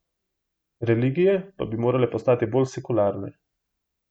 Religije pa bi morale postati bolj sekularne.